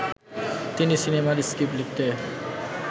তিনি সিনেমার স্ক্রিপ্ট লিখতে